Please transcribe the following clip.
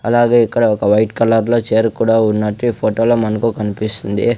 అలాగే ఇక్కడ ఒక వైట్ కలర్ లో చేర్ కూడా ఉన్నట్టు ఈ ఫోటో లో మనకు కనిపిస్తుంది.